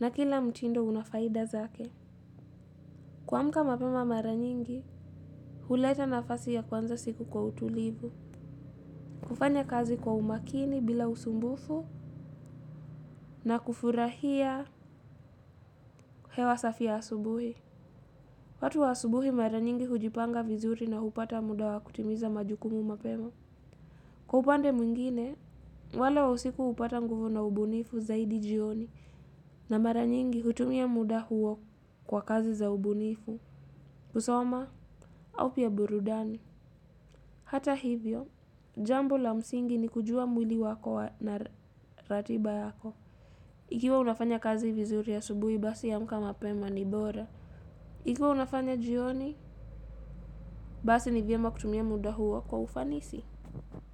na kila mtindo una faida zake. Kuamuka mapema mara nyingi, huleta nafasi ya kuanza siku kwa utulivu. Kufanya kazi kwa umakini bila usumbufu na kufurahia hewa safi ya asubuhi. Watu wa asubuhi mara nyingi hujipanga vizuri na hupata muda wa kutimiza majukumu mapema. Kwa upande mwingine, wale wa usiku upata nguvu na ubunifu zaidi jioni na mara nyingi hutumia muda huo kwa kazi za ubunifu, kusoma, au pia burudani. Hata hivyo, jambo la msingi ni kujua mwili wako na ratiba yako. Ikiwa unafanya kazi vizuri asubuhi basi amka mapema ni bora. Ikiwa unafanya jioni, basi ni vyema kutumia muda huo kwa ufanisi.